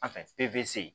An fɛ peze